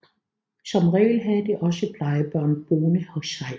Som regel havde de også plejebørn boende hos sig